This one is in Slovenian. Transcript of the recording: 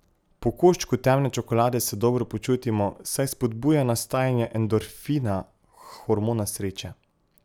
Po koščku temne čokolade se dobro počutimo, saj spodbuja nastajanje endorfina, hormona sreče.